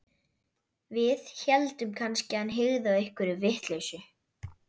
Við héldum kannski að hann hygði á einhverja vitleysu.